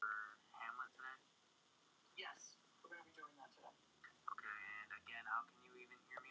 Er þetta gott eða slæmt?